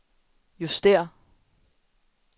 justér